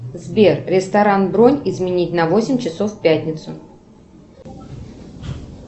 сбер ресторан бронь изменить на восемь часов в пятницу